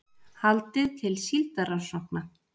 Haldið til síldarrannsókna